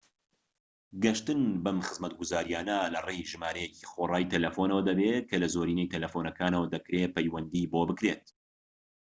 گەشتن بەم خزمەتگوزاریانە لەڕێی ژمارەیەکی خۆڕایی تەلەفونەوە دەبێت کە لە زۆرینەی تەلەفونەکانەوە دەکرێت پەیوەندی بۆ بکرێت